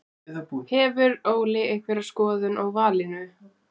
Hefur Óli einhverja skoðun á valinu?